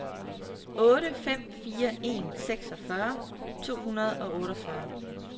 otte fem fire en seksogfyrre to hundrede og otteogfyrre